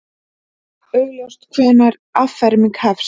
Óljóst hvenær afferming hefst